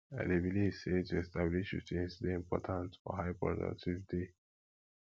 i dey believe sey to establish routines dey important for high productive day